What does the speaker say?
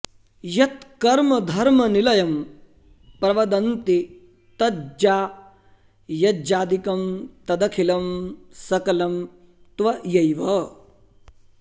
यत्कर्म धर्मनिलयं प्रवदन्ति तज्ज्ञा यज्ञादिकं तदखिलं सकलं त्वयैव